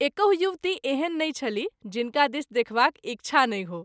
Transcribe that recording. एकहु युवती एहन नहिं छलीह जिनका दिस देखबाक इच्छा नहि हो।